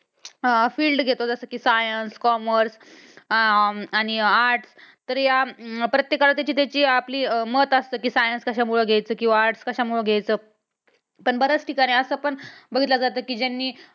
हा Field घेतो जसं कि science, commerce अह आणि arts तर या प्रत्येकाला त्याची त्याची आपली मत असतं कि science कशामुळं घ्यायच किंवा arts कशामुळं घ्यायचं पण बऱ्याच ठिकाणी असं पण बघितलं जातं कि ज्यांनी